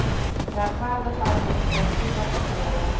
regverdige administratiewe optrede